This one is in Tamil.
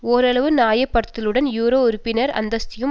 ஓரளவு நியாயப்படுத்தலுடன் யூரோ உறுப்பினர் அந்தஸ்தையும்